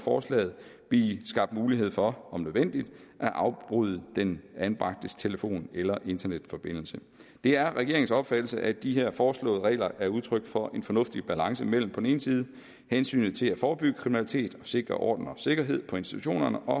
forslaget blive skabt mulighed for om nødvendigt at afbryde den anbragtes telefon eller internetforbindelse det er regeringens opfattelse at de her foreslåede regler er udtryk for en fornuftig balance mellem på den ene side hensynet til at forebygge kriminalitet og sikre orden og sikkerhed på institutionerne og